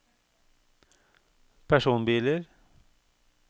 personbiler